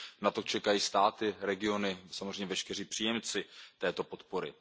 Na to čekají státy, regiony, samozřejmě veškeří příjemci této podpory.